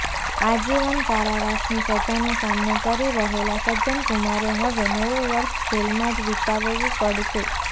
આજીવન કારાવાસની સજાનો સામનો કરી રહેલા સજ્જન કુમારે હવે નવું વર્ષ જેલમાં જ વિતાવવું પડશે